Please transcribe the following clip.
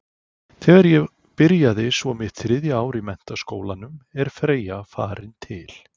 Þegar ég byrja svo mitt þriðja ár í menntaskólanum er Freyja farin til